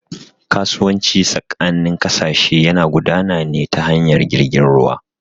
Kasuwanci tsakanin ƙasashe yana gudana ne ta hanyar jirgin ruwa